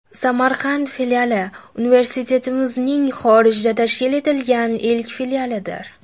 Samarqand filiali universitetimizning xorijda tashkil etilgan ilk filialidir.